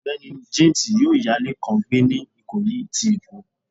Ọgbẹni James yọọ ya ile kan gbè ni ikoyi ti Èko.